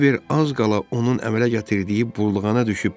Kiber az qala onun əmələ gətirdiyi burulğana ilişəcəkdi.